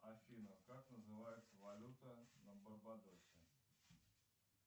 афина как называется валюта на барбадосе